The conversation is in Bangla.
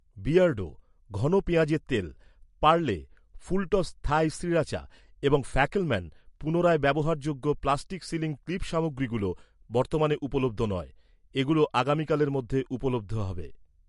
বিয়ার্ডো, ঘন পেঁয়াজের তেল, পার্লে, ফুলটস্ থাই শ্রীরাচা এবং ফ্যাকেলম্যান, পুনরায় ব্যবহারযোগ্য প্লাস্টিক সিলিং ক্লিপ সামগ্রীগুলো বর্তমানে উপলব্ধ নয়। এগুলো আগামীকালের মধ্যে উপলব্ধ হবে।